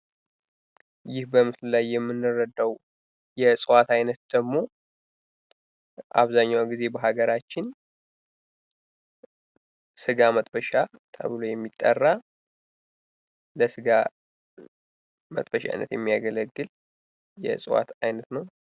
ይህ በምስሉ ላይ የምንረዳው የእፅዋት አይነት ደግሞ አብዛኛውን ጊዜ በሀገራችን ስጋ መጥበሻ ተብሎ የሚጠራ ለስጋ መጥበሻነት የሚያገለግል የእፅዋት አይነት ነው ።